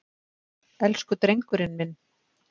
Elsku drengurinn minn!